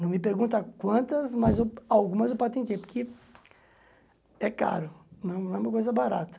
Não me pergunta quantas, mas a algumas eu patentei, porque é caro, não não é uma coisa barata.